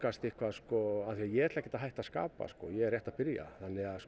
af því að ég ætla ekkert að hætta að skapa ég er rétt að byrja